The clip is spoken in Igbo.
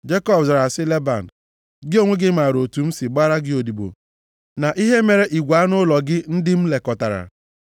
Jekọb zara sị Leban, “Gị onwe gị maara otu m si gbara gị odibo na ihe mere igwe anụ ụlọ gị ndị m lekọtara.